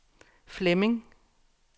Flemming